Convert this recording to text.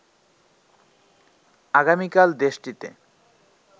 আগামীকাল দেশটিতে